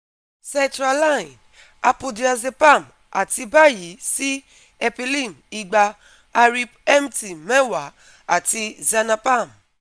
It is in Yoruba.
setraline, apodiazepam ati bayi si epilim igba, arip mt meewa ati xanapam